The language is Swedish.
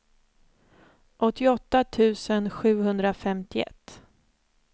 åttioåtta tusen sjuhundrafemtioett